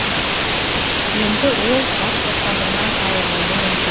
енді ол бас бостандығынан айырылуы мүмкін